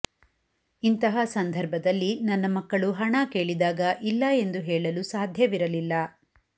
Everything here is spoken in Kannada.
ಇಂತಹ ಸಂದರ್ಭದಲ್ಲಿ ನನ್ನ ಮಕ್ಕಳು ಹಣ ಕೇಳಿದಾಗ ಇಲ್ಲ ಎಂದು ಹೇಳಲು ಸಾಧ್ಯವಿರಲಿಲ್ಲ